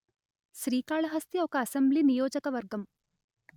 శ్రీకాళహస్తి ఒక అసెంబ్లీ నియోజక వర్గం